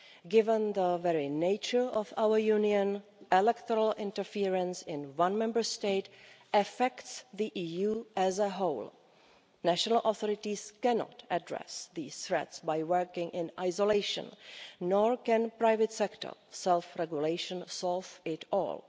Given the very nature of our Union, electoral interference in one Member State affects the EU as a whole. National authorities cannot address these threats by working in isolation, nor can private sector self-regulation solve it all.